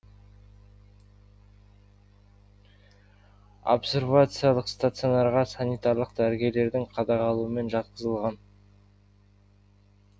обсервациялық стационарға санитарлық дәрігерлердің қадағалауымен жатқызылған